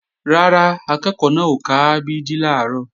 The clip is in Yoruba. Rárá, akẹ́ẹ̀kọ́ náà ò ka a b d làárọ̀